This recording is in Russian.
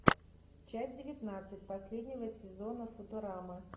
часть девятнадцать последнего сезона футурамы